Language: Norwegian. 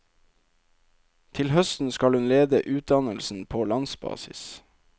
Til høsten skal hun lede utdannelsen på landsbasis.